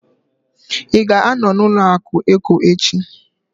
Ị ga-anọ na ụlọaku Eco echi?